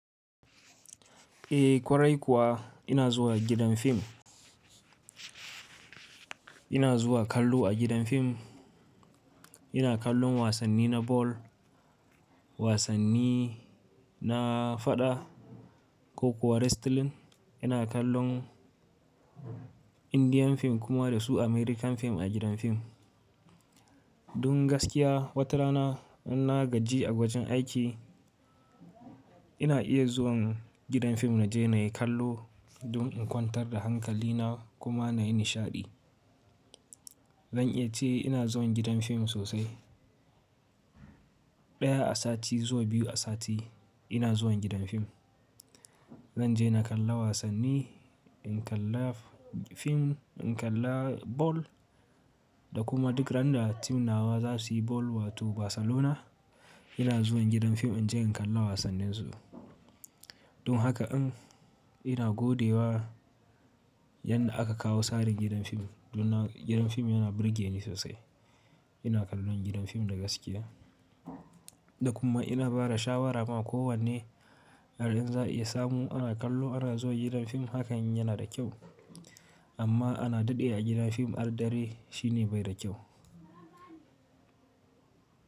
Eh kwarai kuwa ina zuwa gidan fim. Ina zuwa kallo a gidan fim. Ina kallon wasanni na ball, wasanni na fada ko kuwa wrestling. Ina kallon Indian fim kuma da su American fim a gidan fim. Dun gaskiya watarana in na gaji a wajen aiki ina iya zuwan gidan fim na je na yi kallo dun in kwantar da hankali na kuma na yi nishaɗi. Zan iya ce ina zuwan gidan fim sosai. Daya a sati zuwa biyu a sati ina zuwan gidan fim. Zan je na kalla wasanni, in kalla fim, in kalla ball da kuma duk ran da team nawa za su yi ball wato Barcalona ina zuwan gidan fim in je in kalla wasannin su. Dun haka in ina gode wa yanda aka kawo tsarin gidan fim dun gidan fim yana burge ni sosai. Ina kallon gidan fim da gaskiya. Da kuma ina bada shawara ma ko wanne har in za'a a iya samu ana kallo ana zuwa gidan fim hakan yana da kyau amma ana daɗe a gidan fim al'dare shine bai da kyau.